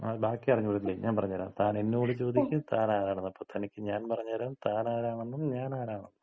ങ്ങാ ബാക്കി അറിഞ്ഞൂടല്ലേ. ഞാന് പറഞ്ഞ് തരാം. താൻ എന്നോട് ചോദിക്ക് താൻ ആരാണെന്ന് അപ്പൊ തനിക്ക് ഞാൻ പറഞ്ഞു തരാം താൻ ആരാണെന്നും ഞാൻ ആരാണെന്നും.